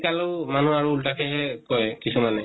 শিকালো মানুহ আৰু উল্টাকেহে কয় কিছুমানে